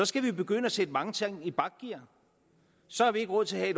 skal vi begynde at sætte mange ting i bakgear så har vi ikke råd til at